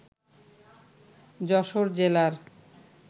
যশোর জেলার